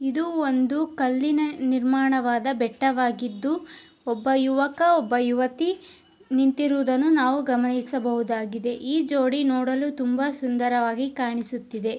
ಇದು ಒಂದು ಕಲ್ಲಿನ ನಿರ್ಮಾಣವಾದ ಬೆಟ್ಟವಾಗಿದ್ದು ಒಬ್ಬ ಯುವಕಿ ಒಬ್ಬ ಯುವತಿ ನಿಂತಿರುವುದನ್ನು ನಾವು ಗಮನಿಸಬಹುದಾಗಿದೆ. ಈ ಜೋಡಿ ನೋಡಲು ತುಂಬಾ ಸುಂದರವಾಗಿ ಕಾಣಿಸುತ್ತಿದೆ.